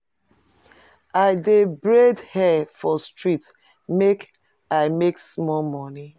I dey braid her for street make I make small moni.